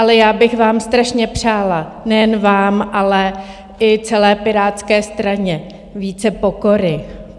Ale já bych vám strašně přála, nejen vám, ale i celé Pirátské straně, více pokory.